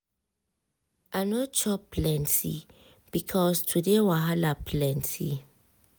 i no chop plenty because today wahala plenty.